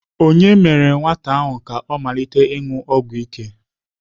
Ònye mere nwata ahụ ka ọ malite ịṅụ ọgwụ ike?